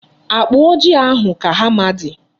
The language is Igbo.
Akpa ojii ahụ ka hama dị.